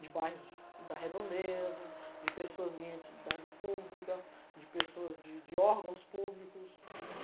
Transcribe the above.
de bairros da redondeza, de pessoas de identidade pública, de pessoas de de órgãos públicos.